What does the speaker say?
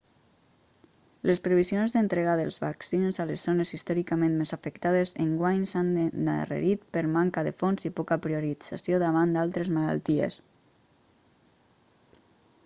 les previsions d'entrega dels vaccins a les zones històricament més afectades enguany s'han endarrerit per manca de fons i poca priorització davant d'altres malalties